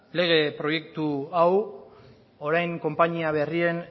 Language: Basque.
lege proiektu hau orain konpainia berrien